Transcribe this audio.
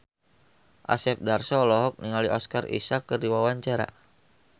Asep Darso olohok ningali Oscar Isaac keur diwawancara